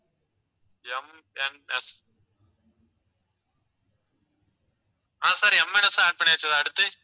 MNX ஆஹ் sir எம்என்எக்ஸும் add பண்ணியாச்சு sir அடுத்து?